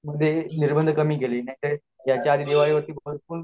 त्यामुळे ह्या वर्षी दिवाळी दिवाळी म्हणजे